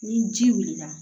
Ni ji wulila